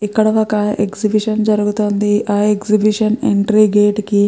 ఇక్కడ ఒక ఎగ్జిబిషన్ జరుగుతోంది ఆ ఎగ్జిబిషన్ ఎంట్రీ గేట్ కి --